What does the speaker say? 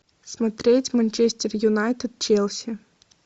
смотреть манчестер юнайтед челси